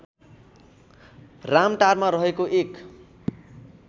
रामटारमा रहेको एक